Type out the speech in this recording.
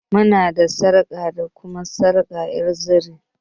Muna da sarƙa da kuma sarƙa ƴar zire.